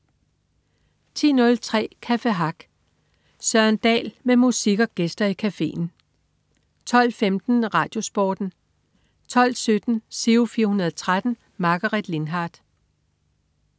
10.03 Café Hack. Søren Dahl med musik og gæster i cafeen 12.15 RadioSporten 12.17 Giro 413. Margaret Lindhardt